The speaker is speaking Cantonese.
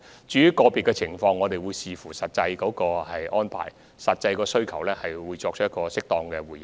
至於個別情況，我們會視乎實際安排和需求作出適當回應。